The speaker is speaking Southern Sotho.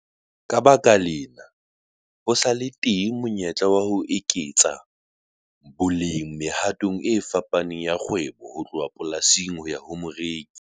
Ka baka lena, ho sa le teng monyetla wa ho eketsa boleng mehatong e fapaneng ya kgwebo ho tloha polasing ho ya ho moreki.